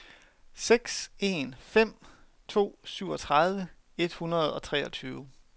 seks en fem to syvogtredive et hundrede og treogtyve